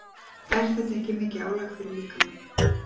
Er þetta ekki mikið álag fyrir líkamann?